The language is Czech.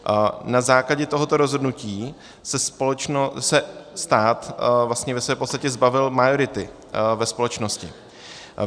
Na základě tohoto rozhodnutí se stát vlastně ve své podstatě zbavil majority ve společnosti.